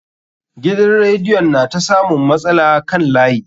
Gidan radiyon na ta samun matsala kan layi.